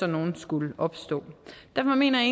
nogle skulle opstå derfor mener